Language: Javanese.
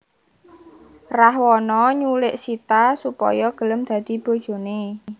Rahwana nyulik Sita supaya gelem dadi bojoné